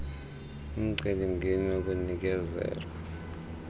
umceli mngeni wokunikezela